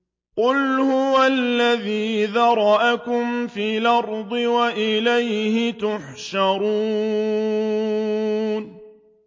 قُلْ هُوَ الَّذِي ذَرَأَكُمْ فِي الْأَرْضِ وَإِلَيْهِ تُحْشَرُونَ